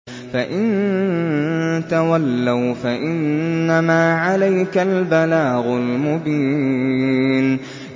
فَإِن تَوَلَّوْا فَإِنَّمَا عَلَيْكَ الْبَلَاغُ الْمُبِينُ